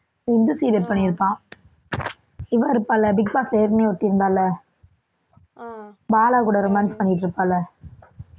இந்த serial பண்ணியிருப்பான் இவ இருப்பாள்ல பிக் பாஸ்ல ஏற்கனவே ஒருத்தி இருந்தாள்ல பாலா கூட romance பண்ணிட்டிருப்பாள்ல